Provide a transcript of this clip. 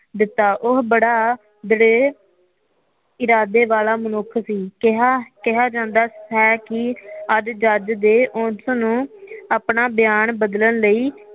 ਦਿੱਤਾ ਉਹ ਬੜਾ ਦਲੇਰ ਇਰਾਦੇ ਵਾਲੇ ਮਨੁਖ ਸੀ ਕਿਹਾ ਕਿਹਾ ਜਾਦਾ ਹੈ ਕੀ ਅੱਜ ਜੱਜ ਦੇ ਉਸ ਨੂੰ ਆਪਣਾ ਬਿਆਨ ਬਦਲਣ ਲਈ